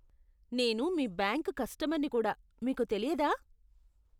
నేను మీ బ్యాంకు కస్టమర్నని కూడా మీకు తెలియదా?